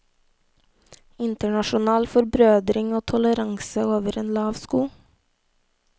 Internasjonal forbrødring og toleranse over en lav sko.